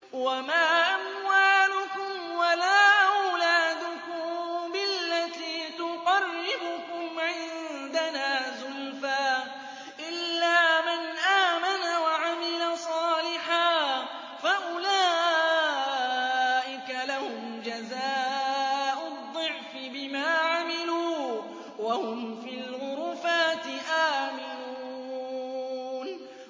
وَمَا أَمْوَالُكُمْ وَلَا أَوْلَادُكُم بِالَّتِي تُقَرِّبُكُمْ عِندَنَا زُلْفَىٰ إِلَّا مَنْ آمَنَ وَعَمِلَ صَالِحًا فَأُولَٰئِكَ لَهُمْ جَزَاءُ الضِّعْفِ بِمَا عَمِلُوا وَهُمْ فِي الْغُرُفَاتِ آمِنُونَ